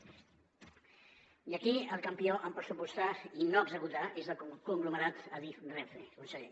i aquí el campió en pressupostar i no executar és el conglomerat adif renfe conseller